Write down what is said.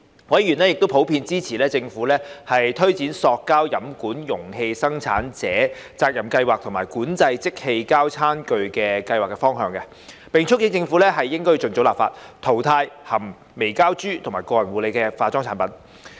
委員亦普遍支持政府推展塑膠飲料容器生產者責任計劃及管制即棄膠餐具計劃的方向，並促請政府盡早立法，淘汰含微膠珠個人護理及化妝產品。